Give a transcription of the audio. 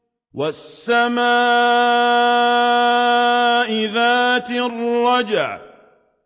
وَالسَّمَاءِ ذَاتِ الرَّجْعِ